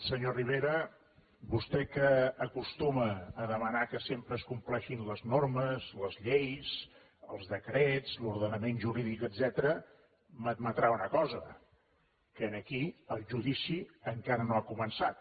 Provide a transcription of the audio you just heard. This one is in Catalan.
senyor rivera vostè que acostuma a demanar que sempre es compleixin les normes les lleis els decrets l’ordenament jurídic etcètera m’admetrà una cosa que aquí el judici encara no ha començat